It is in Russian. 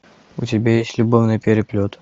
у тебя есть любовный переплет